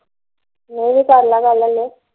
ਨਹੀਂ ਕਰਲਾ ਗੱਲ ਹਲੇ